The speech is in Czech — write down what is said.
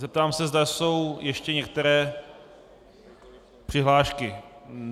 Zeptám se, zda jsou ještě některé přihlášky.